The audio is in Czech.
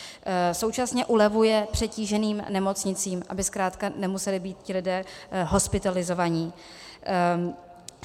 Současně ulevuje přetíženým nemocnicím, aby zkrátka nemuseli být ti lidé hospitalizovaní.